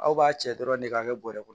Aw b'a cɛ dɔrɔn de k'a kɛ bɔrɛ kɔnɔ